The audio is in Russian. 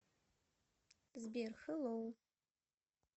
сбер хэлоу